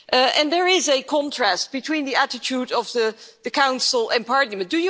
And there is a contrast between the attitude of the Council and Parliament.